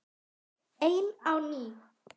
Ein á ný.